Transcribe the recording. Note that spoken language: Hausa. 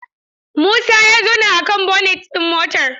Musa ya zauna akan bonet ɗin motar.